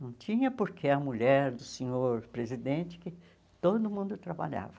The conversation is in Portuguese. Não tinha porque a mulher do senhor presidente que todo mundo trabalhava.